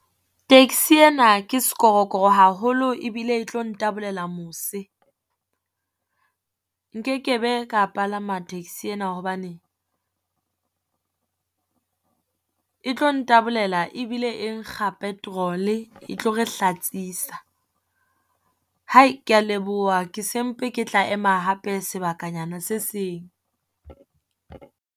Taxi ena ke sekorokoro haholo e bile e tlo ntabolela mose. Nkekebe ka palama taxi ena hobane e tlo ntabolela ebile e nkga petrol-e, etlo re hlatsisa. Ke ya leboha ke se mpe ke tla ema hape sebakanyana se seng.